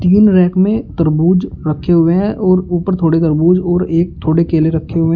तीन रैक में तरबूज रखे हुए हैं और ऊपर थोड़ी तरबूज और एक थोड़े केले रखे हुए।